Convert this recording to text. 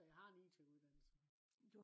så jeg har en it uddannelse